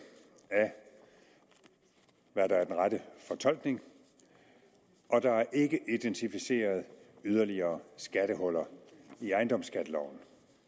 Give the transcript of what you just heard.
af hvad der er den rette fortolkning og der er ikke identificeret yderligere skattehuller i ejendomsskatteloven